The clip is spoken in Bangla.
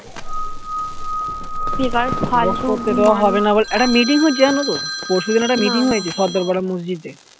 একটা meeting হচ্ছে জানো তো পরশু দিন একটা meeting হয়েছে সদ্দর পাড়া মসজিদ এ